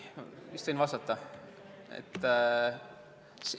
Vist võin vastata?